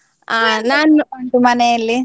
ಉಂಟು ಮನೇಲಿ?